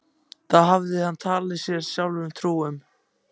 Það hafði hann talið sjálfum sér trú um.